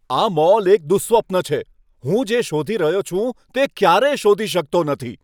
આ મોલ એક દુઃસ્વપ્ન છે. હું જે શોધી રહ્યો છું તે ક્યારેય શોધી શકતો નથી.